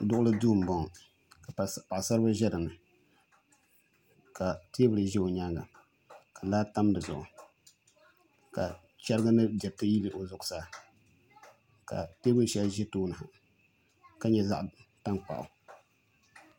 Duɣuli duu n boŋo ka paɣasaribili ʒɛ dinni ka teebuli ʒɛ o nyaanga ka laa tam di zuɣu ka chɛrigi mini diriti yili o zuɣusaa ka teebuli shɛli ʒi tooni ha ka nyɛ zaɣ tankpaɣu